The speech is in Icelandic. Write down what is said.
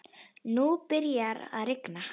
Nú byrjaði að rigna.